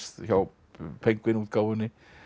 hjá útgáfunni